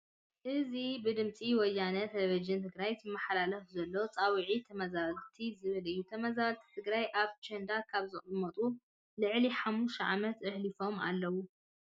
እዚ ብድምፂ ወያነ ቴለቭዥን ትግራይ ዝመሓላለፍ ዘሎ ፃውዒት ተመዛበልቲ ዝብል እዩ። ተመዛበልቲ ትግራይ ኣብ ቸንዳካብ ዝቅመጡ ልዕሊ ሓሙሽተ ዓመት ኣሕሊፎም ኣለዉ።